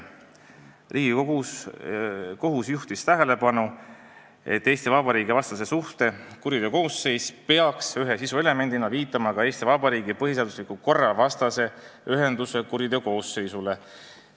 Riigikohus juhtis tähelepanu, et Eesti Vabariigi vastase suhte kuriteokoosseis peaks ühe sisuelemendina viitama ka Eesti Vabariigi põhiseadusliku korra vastase ühenduse kuriteokoosseisule.